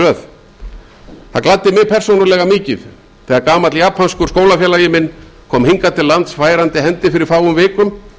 röð það gladdi mig persónulega mikið þegar gamall japanskur skólafélagi minn kom hingað til lands færandi hendi fyrir fáum vikum